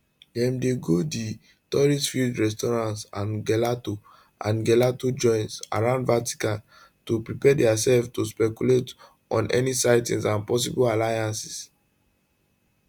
dem dey go di touristfilled restaurants and gelato and gelato joints around vatican to prepare diaself to speculate on any sightings and possible alliances